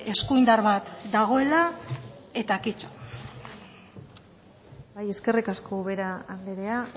eskuindar bat dagoela eta kito bai eskerrik asko ubera andrea